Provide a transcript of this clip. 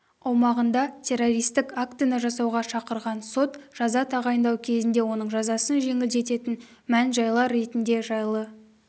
аумағында террористік актіні жасауға шақырған сот жаза тағайындау кезінде оның жазасын жеңілдететін мән-жайлар ретінде жайлы